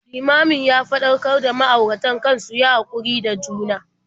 Limamin ya faɗakar da ma'auratan kan su yi haƙuri da juna.